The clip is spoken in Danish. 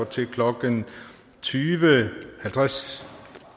til klokken tyve halvtreds